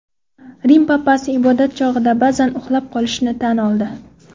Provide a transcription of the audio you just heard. Rim papasi ibodat chog‘ida ba’zan uxlab qolishini tan oldi.